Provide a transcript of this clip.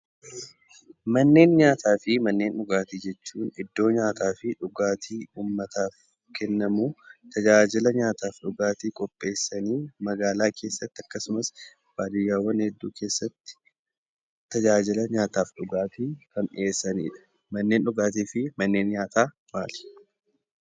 Manneen nyaataafi Manneen dhugaatii jechuun iddoo nyaataa fi dhugaatiin uummataaf kennamu, tajaajila nyaataa fi dhugaatii qopheessanii magaalaa keessatti akkasuma baadiyyaawwan hedduutti tajaajila nyaataa fi dhugaatii kan dhiyeessanidha. Manneen nyaataa fi dhugaatii maali?